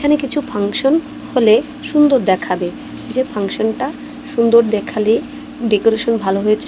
এখানে কিছু ফাংশন হলে সুন্দর দেখাবে যে ফাংশন -টা সুন্দর দেখালে ডেকোরেশন ভালো হয়েছে।